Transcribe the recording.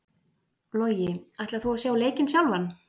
Logi: Ætlar þú að sjá leikinn sjálfan?